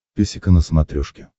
песика на смотрешке